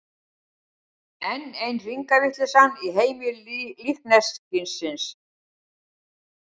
Enn ein hringavitleysan í heimi líkneskisins.